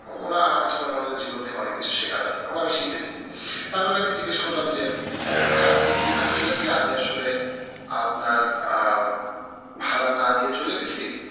ওরা আমাকে কাছে মনে হয় ওনাদের জীবন থেকে অনেক কিছু শেখার আছে এবং আমি শিখেছিও। তা আমি উনাকে জিজ্ঞেস করলাম যে যে ভাইয়া আপনি কি ভাবছিলেন যে আমি আসলে আপনার আহ ভাড়া না দিয়ে চলে গেছি?